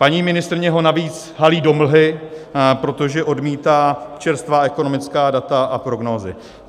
Paní ministryně ho navíc halí do mlhy, protože odmítá čerstvá ekonomická data a prognózy.